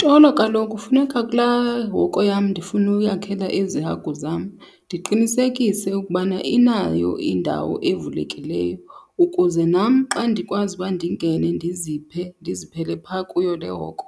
Tolo, kaloku funeka kulaa hoko yam ndifuna uyakhela ezi hagu zam ndiqinisekise ukubana inayo indawo evulekileyo ukuze nam xa ndikwazi uba ndingene ndiziphe, ndiziphele phaa kuyo le hoko.